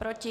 Proti?